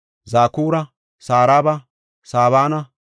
Zakura, Saraba, Sabana,